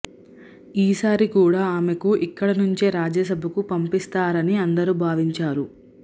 ఈ సారి కూడా ఆమెకు ఇక్కడి నుంచే రాజ్యసభకు పంపిస్తారని అందరూ భావించారు